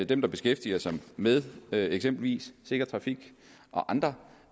dem der beskæftiger sig med eksempelvis sikker trafik og andre